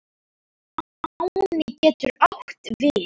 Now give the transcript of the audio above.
Máni getur átt við